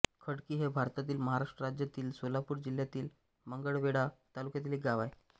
खडकी हे भारतातील महाराष्ट्र राज्यातील सोलापूर जिल्ह्यातील मंगळवेढा तालुक्यातील एक गाव आहे